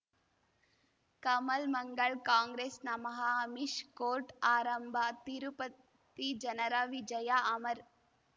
ಕಮಲ್ ಮಂಗಳ್ ಕಾಂಗ್ರೆಸ್ ನಮಃ ಅಮಿಷ್ ಕೋರ್ಟ್ ಆರಂಭ ತಿರುಪತಿ ಜನರ ವಿಜಯ ಅಮರ್